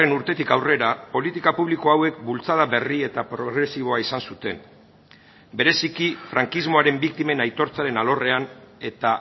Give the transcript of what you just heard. urtetik aurrera politika publiko hauek bultzada berri eta progresiboa izan zuten bereziki frankismoaren biktimen aitortzaren alorrean eta